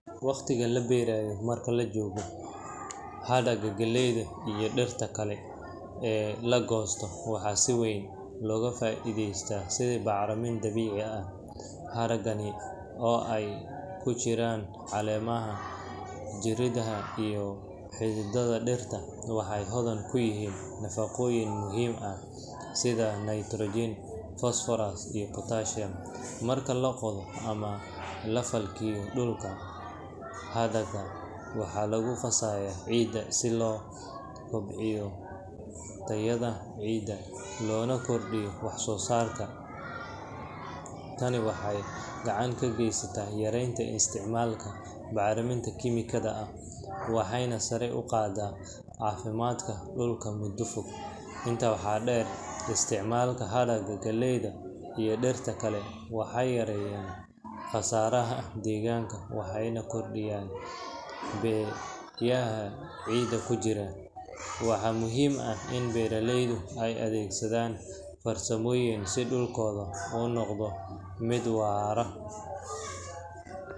Waqtiga la beero marka la joogo, hadhaaga galleyda iyo dhirta kale ee la goostay waxaa si weyn looga faa'iidaystaa sidii bacriminta dabiiciga ah. Hadhaagani oo ay ku jiraan caleemaha, jirridaha iyo xididdada dhirta, waxay hodan ku yihiin nafaqooyin muhiim ah sida nitrogen, phosphorus iyo potassium. Marka la qodo ama la falkiyo dhulka, hadhaagan waxaa lagu qasaayaa ciidda si loo kobciyo tayada ciidda loona kordhiyo wax-soosaarka. Tani waxay gacan ka geysataa yareynta isticmaalka bacriminta kiimikada ah, waxayna sare u qaaddaa caafimaadka dhulka muddo fog. Intaa waxaa dheer, isticmaalka hadhaaga galleyda iyo dhirta kale waxay yaraynayaan khasaaraha deegaanka waxayna kordhiyaan biyaha ciidda ku jira. Waxaa muhiim ah in beeralaydu ay adeegsadaan farsamooyinkan si dhulkooda u noqdo mid waara.